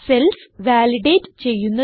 cells validate ചെയ്യുന്നത്